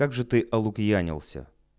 как же ты олукьянился